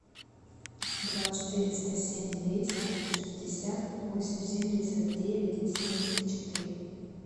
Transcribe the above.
два четыреста семь двести шестьдесят восемь семьдесят девять семьдесят четыре